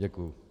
Děkuji.